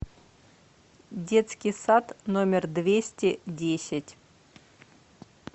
детский сад номер двести десять